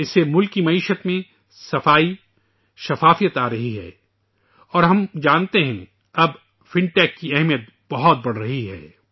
اس سے ملک کی معیشت میں شفافیت آ رہی ہے اور ہم جانتے ہیں کہ اب فن ٹیک کی اہمیت بہت بڑھ رہی ہے